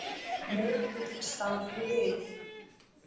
Meirihlutinn staldri við